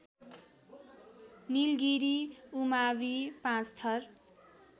निलगिरी उमावि पाँचथर